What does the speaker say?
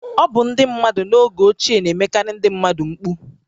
Ọ bụ ndị mmadụ n’oge ochie na-emekarị ndị mmadụ mkpu